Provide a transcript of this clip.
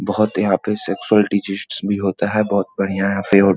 बहुत यहाँ पे सक्सेसफुल टीचर्स भी होता है बहुत बढ़िया यहाँ पे और --